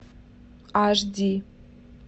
аш ди